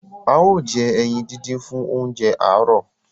ào jé eyin dindin fún oúnjẹ aro